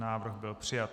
Návrh byl přijat.